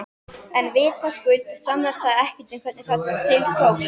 En vitaskuld sannar það ekkert um hvernig til tókst.